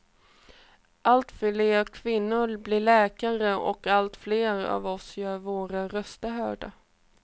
Allt fler kvinnor blir läkare och allt fler av oss gör våra röster hörda.